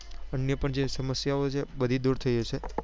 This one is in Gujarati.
અન્ય પણ જે સમસ્યાઓ છે બધી દુર થઇ જશે